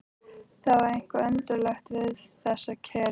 Það var eitthvað undarlegt við þessa kyrrð.